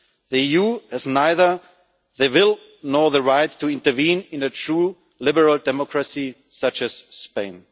The EU has neither the will nor the right to intervene in a true liberal democracy such as Spain.